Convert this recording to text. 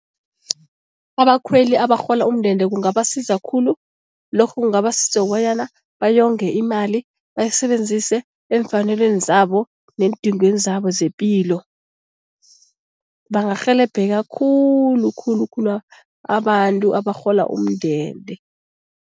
Abakhweli abarhola umndende kungabasiza khulu, lokho kungabasiza bonyana bayonge imali, bayisebenzise eemfanelweni zabo neendingweni zabo zepilo. Bangarhelebheka khulu khulu khulu abantu abarhola umndende.